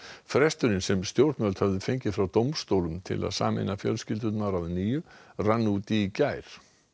fresturinn sem stjórnvöld höfðu fengið frá dómstólum til að sameina fjölskyldur að nýju rann út í gær